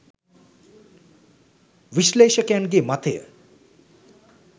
විශ්ලේෂකයන්ගේ මතය.